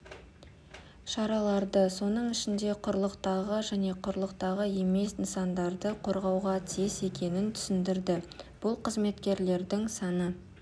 шараларды соның ішінде құрлықтағы және құрлықтағы емес нысандарды қорғауға тиіс екенін түсіндірді бұл қызметкерлердің саны